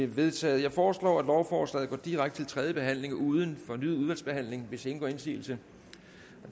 vedtaget jeg foreslår at lovforslaget går direkte til tredje behandling uden fornyet udvalgsbehandling hvis ingen gør indsigelse